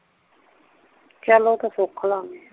ਚੱਲ ਓ ਤੇ ਸੁਖ ਲਾਂਗੇ